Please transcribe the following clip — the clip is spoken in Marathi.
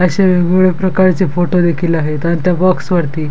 असे वेगवेगळे प्रकारचे फोटो देखील आहेत अन त्या बॉक्स वरती--